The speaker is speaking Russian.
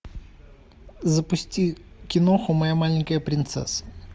запусти киноху моя маленькая принцесса